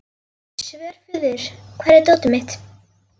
Svörfuður, hvar er dótið mitt?